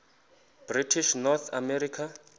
british north america